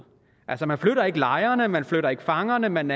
altså man flytter ikke lejrene man flytter ikke fangerne man